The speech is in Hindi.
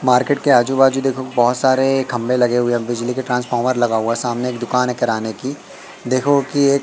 मार्केट के आजू बाजू देखो बहोत सारे खंबे लगे हुए है बिजली के ट्रांसफार्मर लगा हुआ सामने एक दुकान है किराने की देखो की ये--